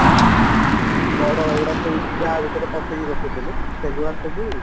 କଢ ଏଇଗୁଡା ସବୁ ତା ଭିତରେ ପସେଇକି ରଖୁଥିଲୁ ସେଗୁଡା ସବୁ